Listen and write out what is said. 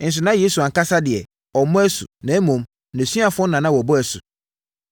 Nso na Yesu ankasa deɛ, ɔmmɔ asu, na mmom, nʼasuafoɔ no na wɔbɔ asu.